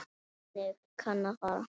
Þannig kann að fara.